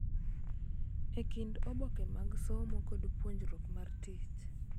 E kind oboke mag somo kod puonjruok mar tich.